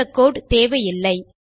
இந்த கோடு தேவையில்லை